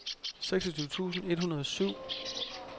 seksogtyve tusind et hundrede og syv